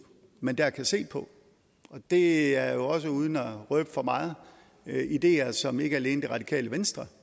man dér kan se på det er jo også uden at røbe for meget ideer som ikke alene det radikale venstre